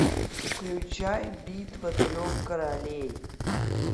включай битва трех королей